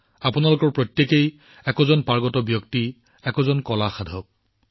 আপোনালোকৰ প্ৰত্যেকেই নিজৰ ক্ষেত্ৰত এজন চেম্পিয়ন এজন কলা সন্ধানকাৰী